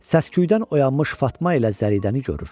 Səsküydən oyanmış Fatma ilə Zəridəni görür.